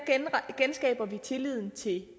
genskaber vi tilliden til